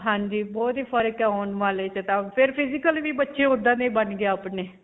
ਹਾਂਜੀ. ਬਹੁਤ ਹੀ ਫਰਕ ਹੈ ਆਉਣ ਵਾਲੇ 'ਚ ਤਾਂ ਫਿਰ physically ਵੀ ਬੱਚੇ ਓੱਦਾਂ ਦੇ ਹੀ ਬਣ ਗਏ ਆਪਣੇ.